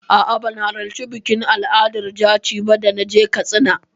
A'a, ban halarci bikin al'adar jaci ba da na je Katsina.